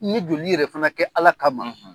N ɲe joli yɛrɛ fana kɛ Ala kama